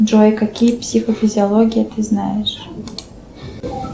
джой какие психофизиологии ты знаешь